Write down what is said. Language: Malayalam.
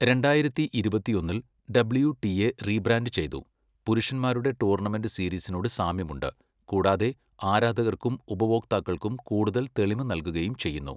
രണ്ടായിരത്തി ഇരുപത്തിയൊന്നിൽ, ഡബ്ള്യു ടി എ റീബ്രാൻഡ് ചെയ്തു, പുരുഷന്മാരുടെ ടൂർണമെന്റ് സീരീസിനോട് സാമ്യമുണ്ട്, കൂടാതെ ആരാധകർക്കും ഉപഭോക്താക്കൾക്കും കൂടുതൽ തെളിമ നൽകുകയും ചെയ്യുന്നു.